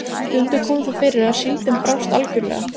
Stundum kom það fyrir að síldin brást algjörlega.